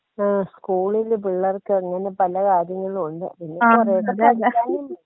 ആ സ്കൂളില് പിള്ളേർക്കങ്ങനെ പല കാര്യങ്ങളുണ്ട് പിന്നെ കുറെയൊക്കെ പഠിക്കാനും.